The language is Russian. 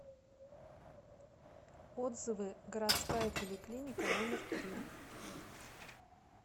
отзывы городская поликлиника номер три